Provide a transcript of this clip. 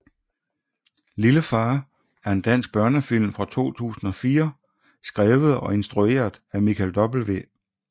Lille far er en dansk børnefilm fra 2004 skrevet og instrueret af Michael W